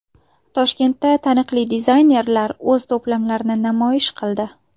Toshkentda taniqli dizaynerlar o‘z to‘plamlarini namoyish qildi .